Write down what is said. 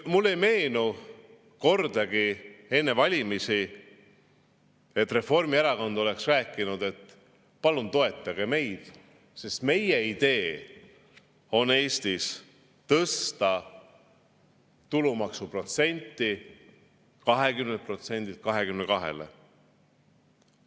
Mulle ei meenu, et Reformierakond oleks enne valimisi kordagi rääkinud: palun toetage meid, sest meie idee on tõsta tulumaksuprotsent Eestis 20-lt 22-le.